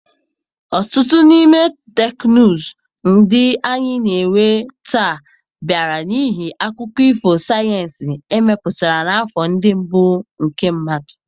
Ọtụtụ n'ime teknụzụ ndị anyị na-enwe taa bịara n'ihi akụkọ ifo sayensị emepụtara n'afọ ndị mbụ nke mmadụ.